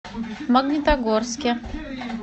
магнитогорске